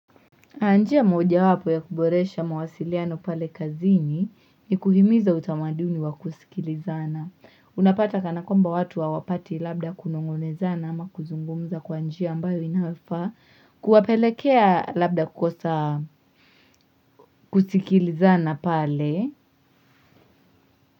Njia moja wapo ya kuboresha mawasiliano pale kazini ni kuhimiza utamaduni wa kusikilizana. Unapata kana kwamba watu hawapati labda kunongonezana ama kuzungumza kwanjia ambayo inafaa kuwapelekea labda kukosa kusikilizana pale.